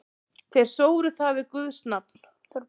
Þeir sóru það við guðs nafn.